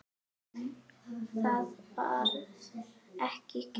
En það var ekki gert.